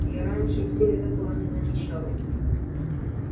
я раньше в тебе такого не замечал